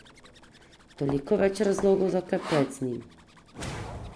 Toliko več razlogov za klepet z njim.